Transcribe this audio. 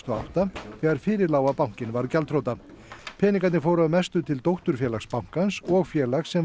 og átta þegar fyrir lá að bankinn var gjaldþrota peningarnir fóru að mestu til dótturfélags bankans og félags sem